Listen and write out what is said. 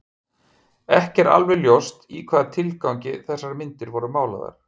Ekki er alveg ljóst í hvaða tilgangi þessar myndir voru málaðar.